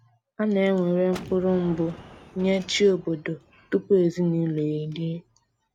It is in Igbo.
A na ewere mkpụrụ mbụ nye chi obodo tupu ezinụlọ erie